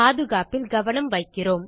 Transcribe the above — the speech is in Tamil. பாதுகாப்பில் கவனம் வைக்கிறோம்